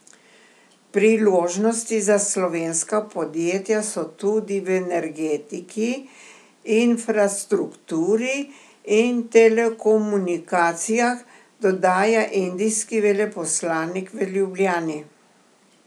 Priložnosti za slovenska podjetja so tudi v energetiki, infrastrukturi in telekomunikacijah, dodaja indijski veleposlanik v Ljubljani.